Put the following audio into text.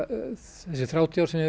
þessi þrjátíu ár sem ég